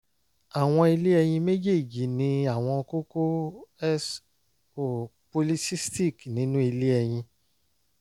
awọn ilé ẹyin mejeeji ni awọn kókó s o polycystic nínú ilé ẹyin